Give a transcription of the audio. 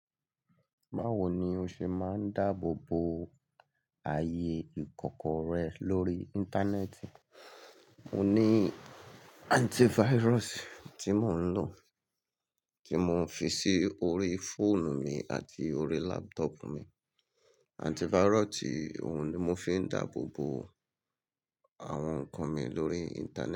Báwo ni o ṣe máa ń dáàbò bo ayé ìkọ̀kọ̀ rẹ lórí Íńtánẹ́ẹ̀tì? Mo ní antivirus tí mò ń lò, tí mò ń fi sí orí fóònù mi àti orí laptop mi. Antivirus yii òun ni mo fi ń dáàbò bo àwọn nǹkan mi lórí Íńtánẹ́ẹ̀tì.